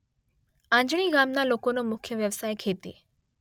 આંજણી ગામના લોકોનો મુખ્ય વ્યવસાય ખેતી